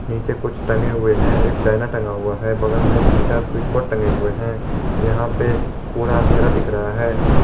नीचे कुछ टंगे हुए हैं एक डायना टंगा हुआ है बगल में तीन चार स्विच बोर्ड टंगे हुए हैं यहां पे पूरा अंधेरा दिख रहा है।